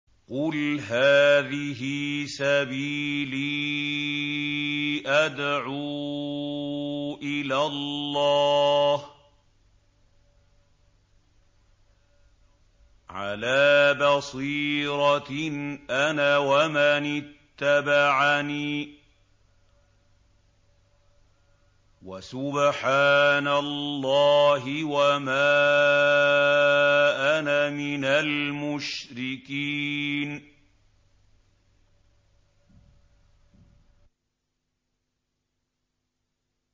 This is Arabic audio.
قُلْ هَٰذِهِ سَبِيلِي أَدْعُو إِلَى اللَّهِ ۚ عَلَىٰ بَصِيرَةٍ أَنَا وَمَنِ اتَّبَعَنِي ۖ وَسُبْحَانَ اللَّهِ وَمَا أَنَا مِنَ الْمُشْرِكِينَ